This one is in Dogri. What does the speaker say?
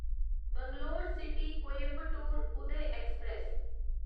Bangalore city Coimbatore Uday express